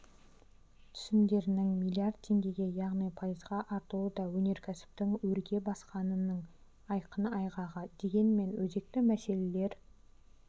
түсімдерінің млрд теңгеге яғни пайызға артуы да өнеркәсіптің өрге басқанының айқын айғағы дегенмен өзекті мәселелер